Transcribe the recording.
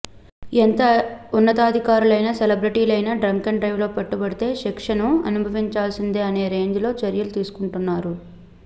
ఎంత ఉన్నతాధికారులైనా సెలబ్రెటీలైన డ్రంకెన్ డ్రైవ్ లో పట్టుబడితే శిక్షను అనుభవించాల్సిందే అనే రేంజ్ లో చర్యలు తీసుకుంటున్నారు